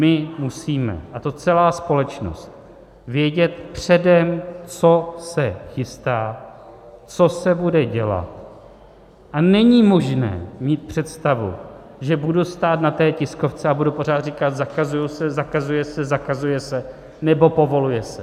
My musíme, a to celá společnost, vědět předem, co se chystá, co se bude dělat, a není možné mít představu, že budu stát na té tiskovce a budu pořád říkat: zakazuje se, zakazuje se, zakazuje se nebo povoluje se.